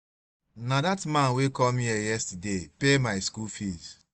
na dat man wey come here yesterday pay my school fees